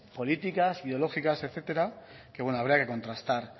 políticas ideológicas etcétera que habría que contrastar